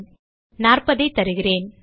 40ஐ தருகிறேன்